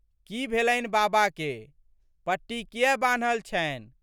की भेलनि बाबाके? पट्टी कियै बान्हल छनि?